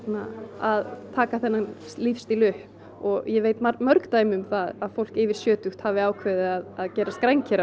að taka þennan lífsstíl upp og ég veit mörg dæmi um það að fólk yfir sjötugt hafi ákveðið að gerast